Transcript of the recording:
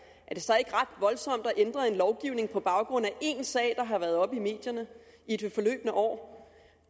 er det så ikke ret voldsomt at ændre en lovgivning på baggrund af én sag der har været oppe i medierne i det forløbne år